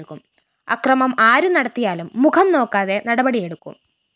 അക്രമം ആരു നടത്തിയാലും മുഖം നോക്കാതെ നടപടിയെടുക്കും